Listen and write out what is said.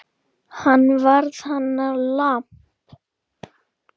Hann varð hennar lamb.